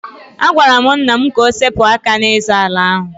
Agwara m nna m ka o sepụ aka n'ịzọ ala ahụ.